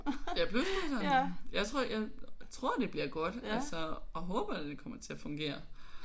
Ja plusbusserne? Jeg tror jeg tror det bliver godt altså og håber da det kommer til at fungere